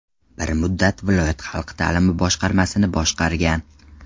Bir muddat viloyat xalq ta’limi boshqarmasini boshqargan.